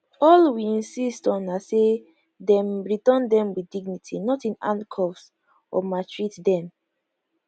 all we insist on na say dem return dem with dignity not in handcuffs or maltreat dem